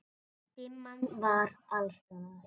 Dimman var alls staðar.